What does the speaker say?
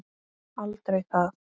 Aldrei það.